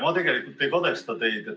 Ma tegelikult ei kadesta teid.